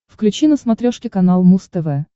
включи на смотрешке канал муз тв